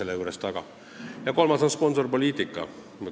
Ja kolmas muudatus on sponsorpoliitika.